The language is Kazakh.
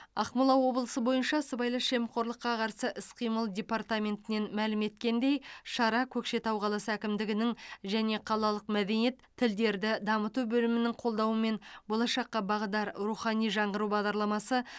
ақмола облысы бойынша сыбайлас жемқорлыққа қарсы іс қимыл департаментінен мәлім еткендей шара көкшетау қаласы әкімдігінің және қалалық мәдениет тілдерді дамыту бөлімінің қолдауымен болашаққа бағдар рухани жаңғыру бағдарламасы